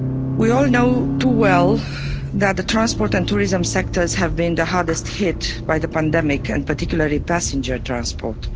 We all know too well that the transport and tourism sectors have been the hardest hit by the pandemic, and particularly passenger transport.